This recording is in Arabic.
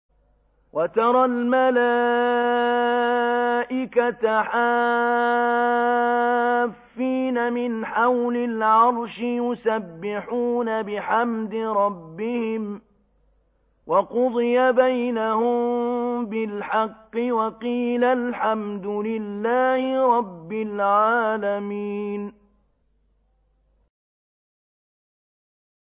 وَتَرَى الْمَلَائِكَةَ حَافِّينَ مِنْ حَوْلِ الْعَرْشِ يُسَبِّحُونَ بِحَمْدِ رَبِّهِمْ ۖ وَقُضِيَ بَيْنَهُم بِالْحَقِّ وَقِيلَ الْحَمْدُ لِلَّهِ رَبِّ الْعَالَمِينَ